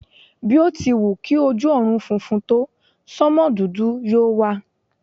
Bí o ti wù kí ojú ọ̀run funfun tó, sánmò dúdú yóò wà.